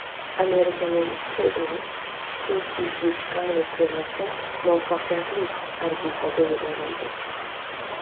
Amerikaning Cygnus xususiy yuk kargo kemasi muvaffaqiyatli orbitaga yuborildi.